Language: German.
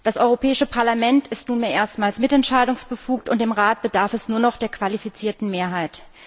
Das Europäische Parlament ist nunmehr erstmals mitentscheidungsbefugt, und im Rat bedarf es nur noch der qualifizierten Mehrheit.